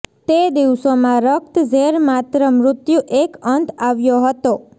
તે દિવસોમાં રક્ત ઝેર માત્ર મૃત્યુ એક અંત આવ્યો હતો